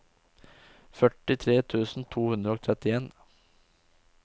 førtitre tusen to hundre og trettien